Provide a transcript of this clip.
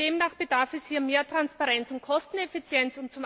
Und demnach bedarf es hier mehr Transparenz und Kosteneffizienz.